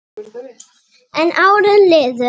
En árin liðu.